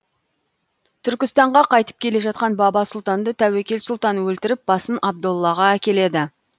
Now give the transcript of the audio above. түркістанға қайтып келе жатқан баба сұлтанды тәуекел сұлтан өлтіріп басын абдоллаға әкеледі